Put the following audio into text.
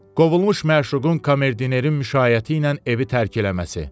Kovulmuş məşuqün komerdinerin müşaiyəti ilə evi tərk eləməsi.